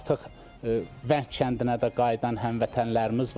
Artıq Vəng kəndinə də qayıdan həmvətənlərimiz var.